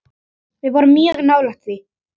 Við vorum mjög nálægt því.